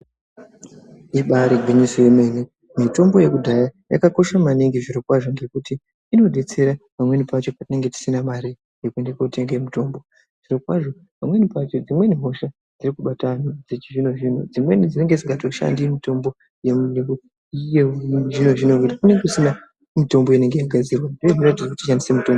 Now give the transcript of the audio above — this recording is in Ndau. Ibayiri gwinyiso yemene mitombo yekudhaya yakakosha maningi zviro kwazvo ngekuti inobetsera pamweni pacho patinenge tisina mari yekuende kotenge mitombo zviro kwazvo pamweni hosha iri kubata wanhu dzimweni dzinenge dzisingatoshandi mitombo yemuzvino zvino nekuti kunenge kusina mitombo inenge yati yagadzirwa.